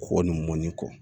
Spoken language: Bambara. Kɔkɔ ni mɔni kɔ